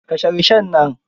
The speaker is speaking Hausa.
Kashe rishon nan.